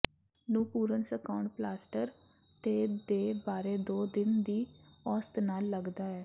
ਨੂੰ ਪੂਰਨ ਸੁਕਾਉਣ ਪਲਾਸਟਰ ਤੇ ਦੇ ਬਾਰੇ ਦੋ ਦਿਨ ਦੀ ਔਸਤ ਨਾਲ ਲੱਗਦਾ ਹੈ